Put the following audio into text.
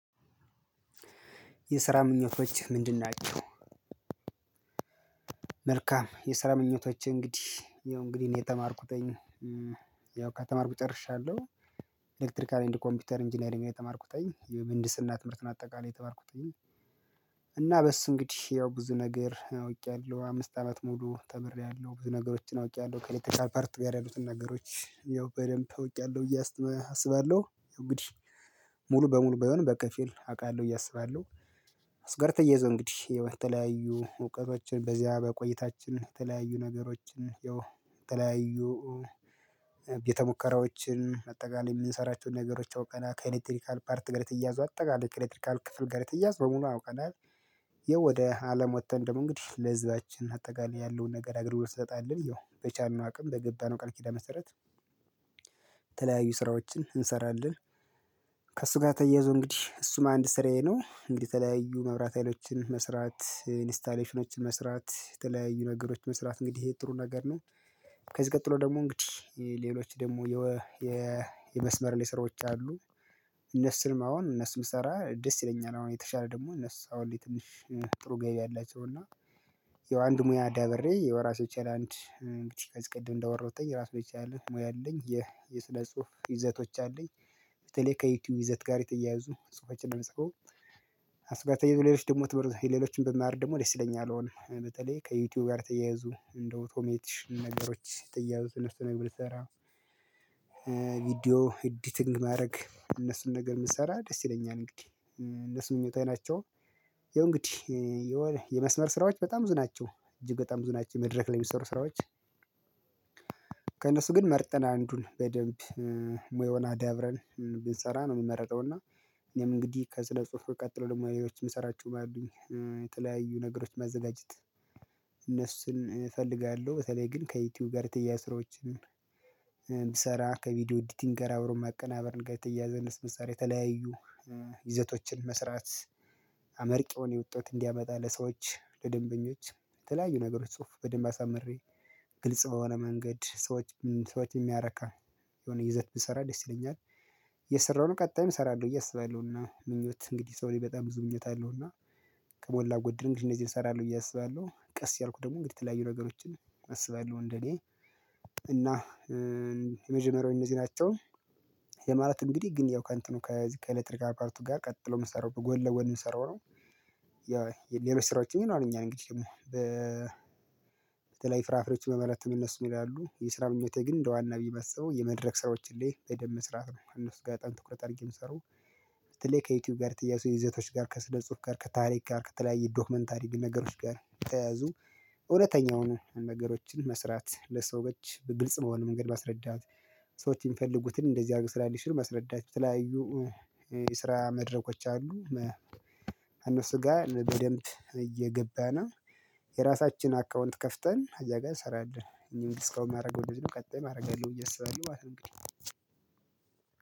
የስራ ምኞቶች ምንድን ናቸው መልካም የሰራ ምኞቶችህ እንግዲህ ያው እንግዲህ እኔ የተማርኩት የተማርኩትኝ ያው ከተማርኩ ጨርሻለሁ ኤሌክትሪካል ኤንደ ኮምፒውተር ኢንጂነሪንግ ነው የተማርኩትኝ የምህንድስና ትምህርትን አጠቃላይ የተማርኩትኝ በስ እንግዲህ ያው ብዙ ነገር አውቄያለሁ አምስት አመት ሙሉ ተምርያለሁ ብዙ ነገሮችን አውቂያለሁ ከኤሌክትሪካል ፓርት ጋር ያሉትን ነገሮች ያው በደንብ እወቂያለሁ እያስተማ አስባለሁ። ያው እንግዲህ ሙሉ በሙሉ ባይሆንም በክፊል አውቃለሁ ብዬ አስባለሁ። አሱ ጋር ተያዪዞህ እንግዲህ፣ የተለያዩ እውቀቶችን በዚያ በቆይታችን የተለያዩ ነገሮችን፣ ያው የተለያዩ ቤተሙከራዎችን አጠቃላይ የምንሰራቸውን ነገሮች አውቀናል። ከኤሌክትሪካል ፓርት ጋር የተያዙ አጠቃላይ ከኤሌክትሪካል ክፍል ገር የተያዘ በሙሉ አውቀናል ይሄ ወደ አለም ወጥተን ደግሞ እንግዲህ ለህዝባችን አጠቃላይ ያለውን ነገር አግልግሎት እንሰጣለን ይኸው በቻልነው አቅም በገባነው ቀል ኪዳን መሰረት የተለያዩ ስራዎችን እንሰራለን ከእሱ ጋር ተየይዞ እንግዲህ እሱም አንድ ስራዬ ነው። እንግዲህ ተለያዩ መብራት ሀይሎችን መስራት ኢንስታሌሽኖችን መስራት የተለያዩ ነገሮች መስራት እንግዲህ ይሄ ጥሩ ነገር ነው። ከዚህ ቀጥሎ ደግሞ እንግዲህ ሌሎች ደግሞ የመስመር ለይ ስራዎች አሉ እነሱንም አሁን እነሱንም ብስራ ደስ ይለኛል አሁን የተሻለ ደግሞ እነሱ አሁን ላይ ንትሽ ጥሩ ገቢ አላቸው እና የው አንድ ሙያ አዳብሬ የዉራሱንየቻለህ አንድ እንግዲህ ከዚ ቀደም እንዳወራዉትኝ፣ እራሱን የቻልህ ሙያ አለኝ። የስነ ጽሁፍ ይዘቶች አለኝ። በተለይ ከዩቲዩብ ይዘት ጋር የተያያዙ ጽሁፎችን ነው ምጽፈው። አሱ ጋር ተያይዞ ሌሎች ደግሞ ትምህርት ሌሎችን ብማር ደግሞ ደስ ይለኛል። አልሆነም በተለይ ከዩቲዩብ ጋር ተያያዙ እንደ አውቶሜቲሽን ነገሮች በተያያዙ እነሱን ነገር ብሰራ ቪዲዮ ኤዲቲንግ ማድረግ እነሱን ነገር ብሰራ ደስ ይለኛል እንግዲህ እነሱ ምኞታዊ ናቸው። የው እንግዲህ የመስመር ስራዎች በጣም ብዙ ናቸው። እጅግ በጣም ብዙ ናቸው መድረክ ላይ የሚሰሩ ስራዎች። ከእነሱ ግን መርጠን አንዱን በደንብ ሞያዉን አዳብረን፣ ብንሰራ ነው የምመረጠው እና እኔም እንግዲህ ከስነ ጽሁፍ ቀጥሎ ደግሞ ሌሎች የምሰራችው ሞያዎች አሉኝ። የተለያዩ ነገሮች ማዘጋጀት እነሱን እፈልጋለሁ። በተለይ ግን ከዩቲዩብ ጋር የተያያዙ ስራዎችን ሰራ ከቪዲዮ ኢዲቲንግ ጋር አብሮ መቀናበርን ጋር የተያያዘንስ መሳሪያ የተለያዩ ይዘቶችን መስራት፣ አመርቂውን የውጤት እንዲያመጣ ለሰዎች፣ ለደንበኞች የተለያዩ ነገሮች ጽሁፍ በደንብ አሳምሬ ግልጽ በሆነ መንገድ ሰዎች ሰዎች የሚያረካ የሆነ ይዘት ብሰራ ደስ ይለኛል። የሰራነዉን ቀጣይም እሰራለሁ ብዬ አስባለው፣ እና ምኞት እንግዲህ ሰው ልጅ በጣም ብዙ ምኞት አለው እና ከሞላ ጎድል እነዚህን እኔ እሰራለሁ ብዬ አስባለሁ። ቀስ እያልኩ ደግሞ እንግዲህ የተለያዩ ነገሮችን አስባለሁ እንደኔ እና የመጀመሪያው እነዚህ ናቸው ያ ማለት እንግዲህ ግን ያው ከእንትኑ ከዚህ ከኤሌክትሪካል ፓርቱ ጋር ቀጥሎ የምሰንሰራው በጎን ለጎን የምሰራው ነው። ያው ያሌሎችን ስራዎችምንም ይኖርናል እኛ እንግዲህ በተለይ ፍራፍሬዎች በመለት እነሱ ምን፣ ይላሉ የስራ ምኞቴ ግን እንደ ዋና ብዬ ባስበው የመድረክ ሰራዎችን ላይ በደንብ መስራት ነው እነሱ ጋር በጣም ትኩረት አድርጌ እምሰራው፣ በተለይ ከዩቲዩብ ጋር የተያያዘዙ የዘቶች ጋር ከስነ ጽሁፍ ጋር፣ ከታሪክ ጋር፣ ከተለያየ ዶክመንተሪ ነገሮች ጋር የተያያዙ እውነተኛውን ነገሮችን መስራት፣ ለሰዎች በግልጽ በሆነ መንገድ መስረዳት፣ ሰዎች የሚፈልጉትን እንደዚህ አድርጎ ልስራልሽ ብሎ መስረዳት፣ በተለያዩ የተለያዩ የስራ መድረኮች አሉ እነሱ ጋ በደንብ እየገባን የራሳችን አካውንት ከፍተን እዚያጋ ሰንራለን እኔ እንግዲህ እስካሁን የማደርገው እንደዚህ ነው፤ ቀጣይም አደርጋለሁ ብየ አስባለሁ ማለት ነው እንግዲህ